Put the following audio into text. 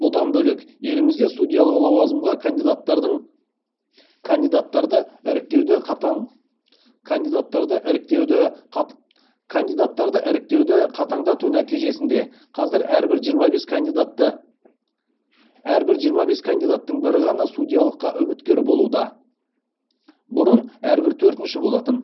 бұдан бөлек елімізде судьялық лауазымға кандидаттарды іріктеуді қатаңдату нәтижесінде қазір әрбір жиырма бес кандидаттың бірі ғана судьялыққа үміткер болуда